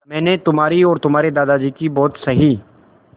मैंने तुम्हारी और तुम्हारे दादाजी की बहुत सही